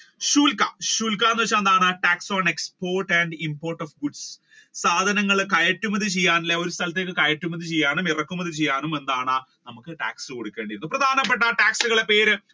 ശൂൽക്ക ശൂൽക്ക എന്ന് വെച്ചാൽ എന്താണ് tax on exported and imported goods സാധനങ്ങൾ കയറ്റുമതി ചെയ്യാൻ അല്ലെ ഒരു സ്ഥലത്തേക്ക് കയറ്റുമതി ചെയ്യാൻ ഇറക്കുമതി ചെയ്യാനും എന്താണ് നമ്മുക്ക് tax കൊടുക്കേണ്ടി പ്രധാനപ്പെട്ട tax കളുടെ പേര്